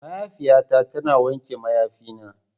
Mahaifiyata tana wanke mayafina.